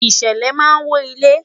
ìṣẹlẹ ma wo ile